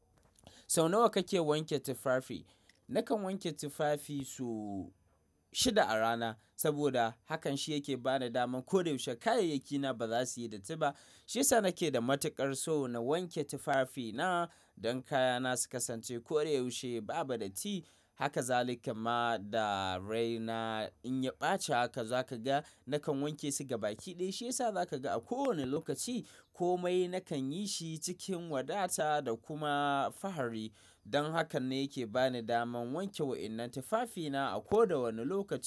Sau nawa kake wanke tufafi? Nakan wanke tufafi so shida a rana saboda hakan shi yake bani daman ko da yaushe kayayyakina ba za su yi datti ba. Shiyasa nake da matukar so na wanke tufafina don kayana su kasance ko da yaushe babu datti. Haka zalika ma dare na in ya ɓaci haka za ka ga nakan wanke su gaba gaba. Baki ɗaya shiyasa za ka ga a kowane lokaci komai nakan yi shi cikin wadata da kuma fahari don haka ne yake bani daman wanke wa'innan tufafina a koda wane lokaci.